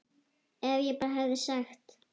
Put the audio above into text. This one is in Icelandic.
Ef ég bara hefði sagt.